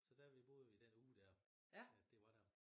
Så der vi boede vi den uge der at det var der